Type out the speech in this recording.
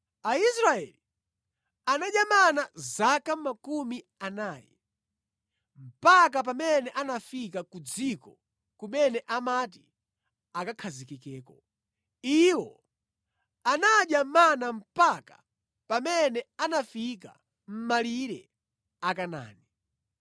Aisraeli anadya mana zaka 40, mpaka pamene anafika ku dziko kumene amati akakhazikeko. Iwo anadya mana mpaka pamene anafika mʼmalire a Kanaani.